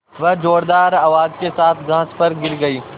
वह ज़ोरदार आवाज़ के साथ घास पर गिर गई